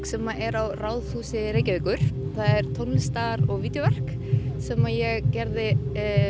sem er á Ráðhúsi Reykjavíkur það er tónlistar og vídeóverk sem ég gerði